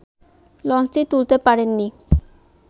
লঞ্চটি তুলতে পারেননি